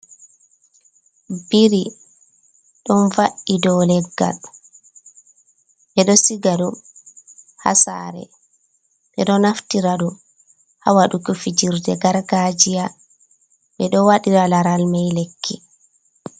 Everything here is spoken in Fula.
Ɓiri ɗon vaa’i ɗow leggal. Ɓeɗo siga ɗum ha sare, ɓe ɗo naftira ɗum ha waɗugo fijirɗe gargajiya, ɓe ɗo waɗira laral mai lekki.